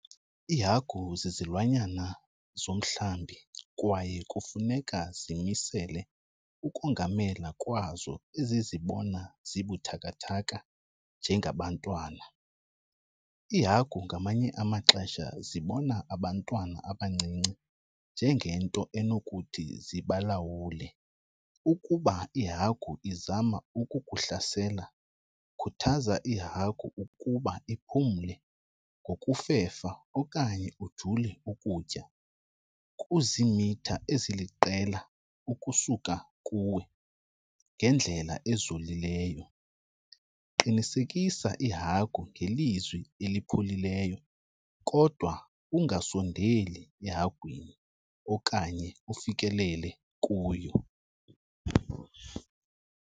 Iihagu zizilwanyana zomhlambi kwaye kufuneka zimisele ukongamela kwazo ezizibona zibuthakathaka njengabantwana. Iihagu ngamanye amaxesha zibona abantwana abancinci njengento enokuthi zibalawule. Ukuba ihagu izama ukukuhlasela khuthaza ihagu ukuba iphumle ngokufefa okanye ujule ukutya kuziimitha eziliqela ukusuka kuwe ngendlela ezolileyo. Qinisekisa ihagu ngelizwi elipholileyo kodwa ungasondeli ehagwini okanye ufikelele kuyo.